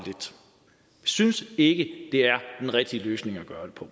synes ikke det er den rigtige løsning